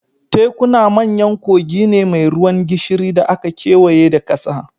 Tekuna manyan kogi ne mai ruwan gishiri da aka kewaye da ƙasa